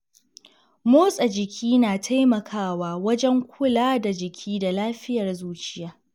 Motsa jiki na taimakawa wajen kula da jiki da lafiyar zuciya.